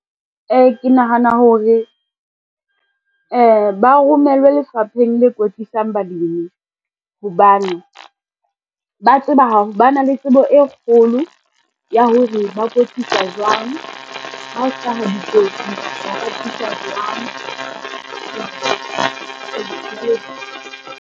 Ee, ke nahana hore, ba romellwe lefapheng le kwetlisang balemi hobane, ba na le tsebo e kgolo ya hore ba kwetlisa jwang ha o hlaha dikotsi .